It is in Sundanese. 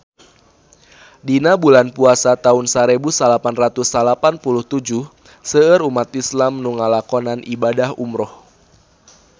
Dina bulan Puasa taun sarebu salapan ratus salapan puluh tujuh seueur umat islam nu ngalakonan ibadah umrah